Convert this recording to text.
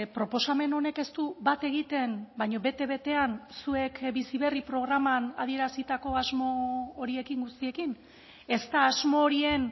proposamen honek ez du bat egiten baina bete betean zuek bizi berri programan adierazitako asmo horiekin guztiekin ez da asmo horien